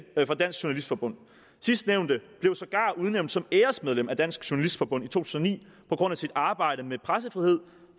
journalistforbund sidstnævnte blev sågar udnævnt som æresmedlem af dansk journalistforbund i to tusind og ni på grund af sit arbejde med pressefrihed